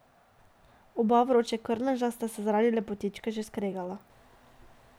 Oba vročekrvneža sta se zaradi lepotičke že skregala.